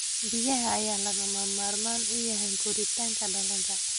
Biyaha ayaa lagama maarmaan u ah koritaanka dalagga.